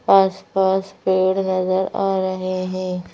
आस-पास पेड़ नजर आ रहे हैं।